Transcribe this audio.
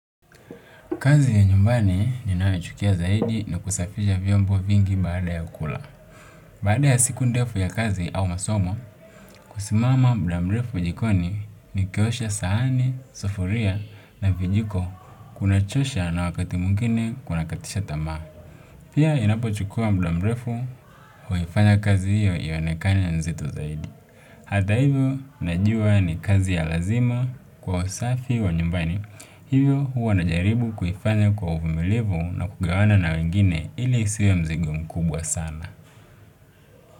Kazi ya nyumbani ninayochukia zaidi ni kusafisha vyombo vingi baada ya kula. Baada ya siku ndefu ya kazi au masomo kusimama mda mrefu jikoni nikiosha sahani, sufuria na vijiko kunachosha na wakati mwingine kunakatisha tamaa pia ninapochukua mda mrefu huifanya kazi ionekane nzito zaidi. Hata hivyo, najua ni kazi ya lazima kwa usafi wa nyumbani. Hivyo, huwa najaribu kuifanya kwa uvumilivu na kugawana na wengine ili isiwe mzigo mkubwa sana.